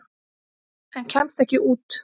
En kemst ekki út.